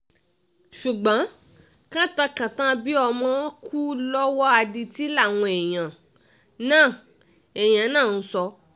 ṣùgbọ́n kantàn kantan bíi ọmọ kú lọ́wọ́ adití làwọn èèyàn náà èèyàn náà ń sọ